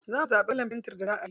Za mu zaɓi kalar fentin da za ayi.